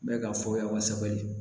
N bɛ ka fɔya kosɛbɛ